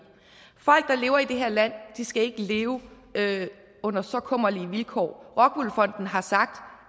folk lever i det her land skal ikke leve under så kummerlige vilkår rockwool fonden har sagt